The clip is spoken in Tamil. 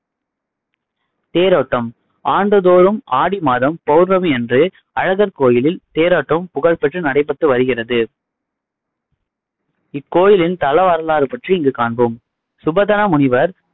தேரோட்டம் ஆண்டுதோறும் ஆடி மாதம் பௌர்ணமி அன்று அழகர் கோயிலில் ட்ஜ்ஹேரோட்டம் புகழ் பெற்று நடைபெற்று வருகிறது இக்கோயிலின் தலவரலாறு பற்றி இங்கு காண்போம் சுபதமுனிவர்